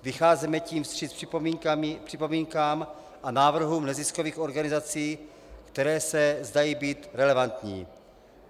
Vycházíme tím vstříc připomínkám a návrhům neziskových organizací, které se zdají být relevantní.